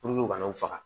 u kana faga